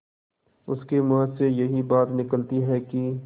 उसके मुँह से यही बात निकलती है कि